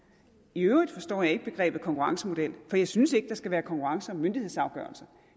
i øvrigt forstår jeg ikke begrebet konkurrencemodel for jeg synes ikke der skal være konkurrence om myndighedsafgørelser